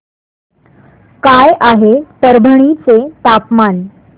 काय आहे परभणी चे तापमान